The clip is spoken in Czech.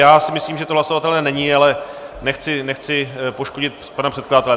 Já si myslím, že to hlasovatelné není, ale nechci poškodit pana předkladatele.